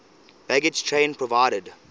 baggage train provided